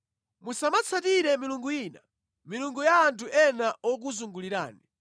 Musamatsatire milungu ina, milungu ya anthu ena okuzungulirani,